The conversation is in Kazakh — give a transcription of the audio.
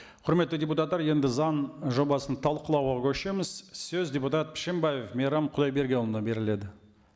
құрметті депутаттар енді заң жобасын талқылауға көшеміз сөз депутат пшембаев мейрам құдайбергенұлына беріледі